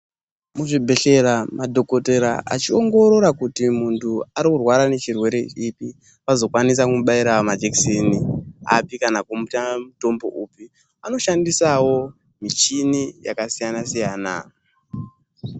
Muzvibhedhlera madhokodheya achiongoroa kuti muntu ari kurwara nechirwere chipi ,vazokwanisa kumubaira majekiseni api ,kana kumuta mutombo upi ,anoshandisawo michini yakasiyana-siyana.